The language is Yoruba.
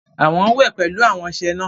Awọn wẹ pẹlu awọn ọṣẹ náà